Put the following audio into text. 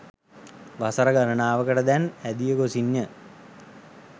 වසර ගණනාවකට දැන් ඇදි ගොසින් ය.